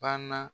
Banna